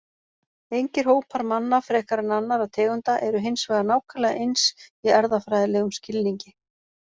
Engir hópar manna frekar en annarra tegunda eru hins vegar nákvæmlega eins í erfðafræðilegum skilningi.